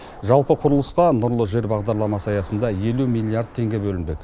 жалпы құрылысқа нұрлы жер бағдарламасы аясында елу миллиард теңге бөлінбек